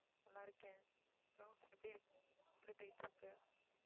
நல்லா இருக்கேன் அப்பறம் எப்படி இருக்~ எப்படி போயிட்டு இருக்கு